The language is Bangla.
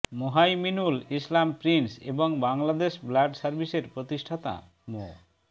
মুহাইমিনুল ইসলাম প্রিন্স এবং বাংলাদেশ ব্লাড সার্ভিসের প্রতিষ্ঠাতা মো